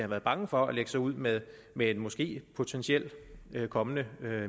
været bange for at lægge sig ud med med en måske potentielt kommende